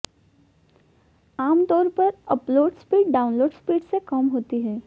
आमतौर पर upload speed download speed से कम होती है